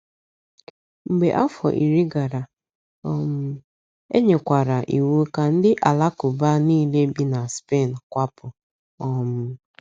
Mgbe afọ iri gara, um e nyekwara iwu ka ndị Alakụba niile bi na Spen kwapụ. um